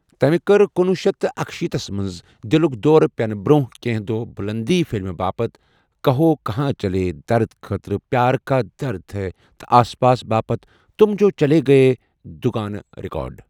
تمہِ کٔر کُنوُہ شیتھ اکشیتھسَ تھس منز دِلُك دورِ پینہٕ برونہہ كینہہ دۄہ بُلندی فِلمہِ باپتھ 'کہو کہاں چلے' درد خٲطرٕ ,پیار کا درد ہے' تہٕ آس پاس باپتھ 'تم جو چلے گئے' دُگانہٕ ریکارڈ۔